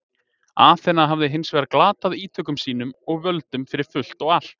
Aþena hafði hins vegar glatað ítökum sínum og völdum fyrir fullt og allt.